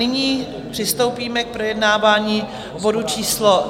Nyní přistoupíme k projednávání bodu číslo